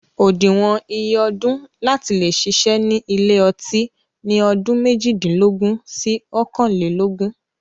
Òdiwọn iye ọdún láti leè ṣiṣẹ́ ni ilé ọtí ni ọdún méjìdínlógún sí ọkànlelógún